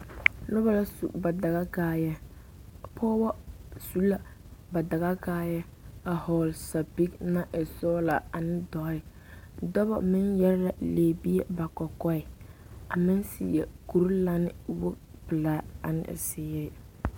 Noba la su ba dagakaayɛɛ pɔgeba su la ba dagakaayɛɛ a hɔgle sapige naŋ e sɔglaa a ne dɔɛ dɔba meŋ yɛre la lɛbie ba kɔkɔɛ a meŋ seɛ kurilane wogi pelaa ane zeere.